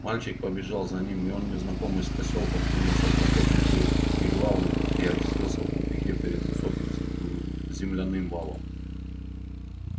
мальчик побежал за ним и он незнакомый с посёлком кинулся в проход между вигвамами и очутился в тупике перед высоким земляным валом